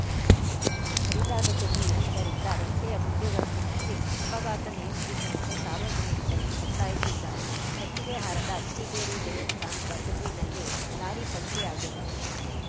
ಕಡಿದಾದ ತಿರುವು ಇರುವುದರಿಂದ ರಸ್ತೆಯ ಗುಂಡಿಗಳನ್ನು ಮುಚ್ಚಿ ಅಪಘಾತ ನಿಯಂತ್ರಿಸುವಂತೆ ಸಾರ್ವಜನಿಕರಿಗು ಒತ್ತಾಯಿಸಿದ್ದಾರೆ ಕೊಟ್ಟಿಗೆಹಾರದ ಅತ್ತಿಗೆರೆ ದೇವಸ್ಥಾನದ ತಿರುವಿನಲ್ಲಿ ಲಾರಿ ಪಲ್ಟಿಯಾಗಿರುವುದು